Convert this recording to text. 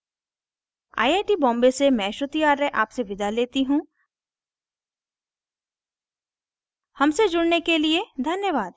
I I T Bombay से मैं श्रुति आर्य आपसे विदा लेती हूँ हमसे जुड़ने के लिए धन्यवाद